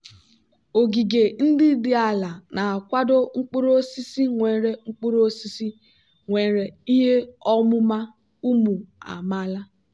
ogige ndị dị ala na-akwado mkpuru osisi nwere mkpuru osisi nwere ihe ọmụma ụmụ amaala.